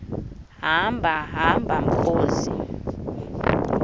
hamba hamba mkhozi